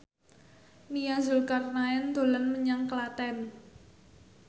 Nia Zulkarnaen dolan menyang Klaten